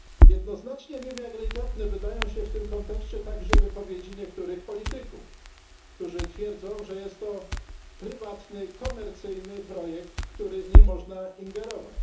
Jednoznacznie niewiarygodne wydają się w tym kontekście także wypowiedzi niektórych polityków, którzy twierdzą, że jest to prywatny, komercyjny projekt, w który nie można ingerować.